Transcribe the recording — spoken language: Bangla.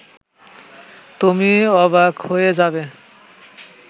তুমি অবাক হয়ে যাবে